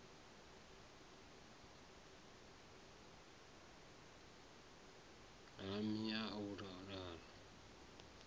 ha mai ya u laula